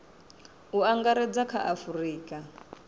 u angaredza kha a afurika